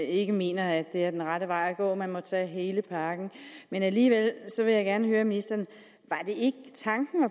ikke mener at det er den rette vej at gå og at man må tage hele pakken men alligevel vil jeg gerne høre ministeren